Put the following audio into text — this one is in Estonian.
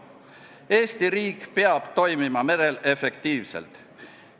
Eesti riik peab toimima merel efektiivselt.